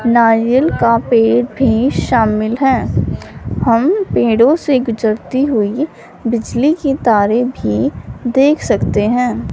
नारियल का पेड़ भी शामिल है हम पेड़ों से गुजरती हुई बिजली की तारें भी देख सकते हैं।